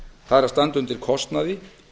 það er að standa undir kostnaði